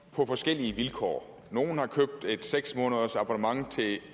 på forskellige vilkår nogle har købt et seks månedersabonnement til